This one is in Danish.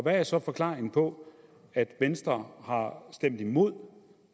er så forklaringen på at venstre har stemt imod